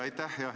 Aitäh!